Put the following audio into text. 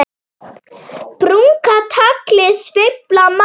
Brúnka tagli sveifla má.